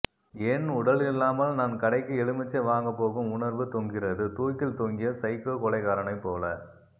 என் உடலில்லாமல் நான் கடைக்கு எலுமிச்சை வாங்கப்போகும் உணர்வு தொங்குகிறது தூக்கில் தொங்கிய சைக்கோ கொலைகாரனை போல